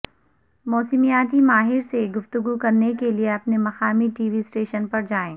موسمیاتی ماہر سے گفتگو کرنے کے لئے اپنے مقامی ٹی وی اسٹیشن پر جائیں